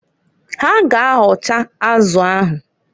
Ha ga- ahọcha azụ ahụ.